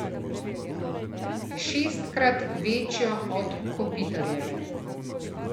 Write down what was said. Šestkrat večjo od Kopitarjeve.